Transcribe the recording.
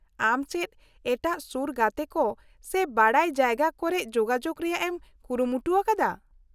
-ᱟᱢ ᱪᱮᱫ ᱮᱴᱟᱜ ᱥᱩᱨ ᱜᱟᱛᱮ ᱠᱚ ᱥᱮ ᱵᱟᱰᱟᱭ ᱡᱟᱭᱜᱟ ᱠᱚᱨᱮᱫ ᱡᱳᱜᱟᱡᱳᱜ ᱨᱮᱭᱟᱜ ᱮᱢ ᱠᱩᱨᱩᱢᱩᱴᱩᱣᱟᱠᱟᱫᱟ ?